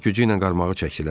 Var gücü ilə qarmağı çəkdilər.